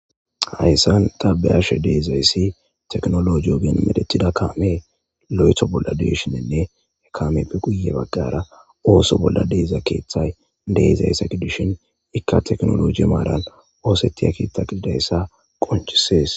Hayssan tabeyashe deezayssi teknolo jiyoogen medetida kaame lo'etho bolla deshinenne ekamepe guye bagqara ooso bolla deeza keeththay deezayssa kidishin ikka teknoloji maaran oosetiya keeththa qididayssa qonchisees.